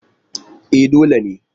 E, dole ne.